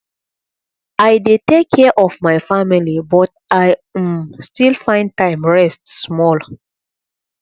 i dey take care of my family but i um still find time rest small